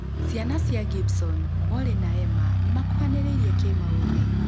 Ciana cia Gibson; molly na emma nĩmakuhanĩrĩirie kĩ-maũthĩ